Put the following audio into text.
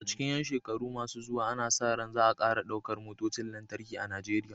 A cikin ƴan shekaru masu zuwa, ana sa ran za a ƙara ɗaukar motocin lantarki a Najeriya.